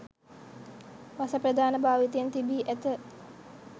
වස ප්‍රධාන භාවිතයන් තිබී ඇත